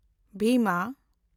ᱵᱷᱤᱢᱟ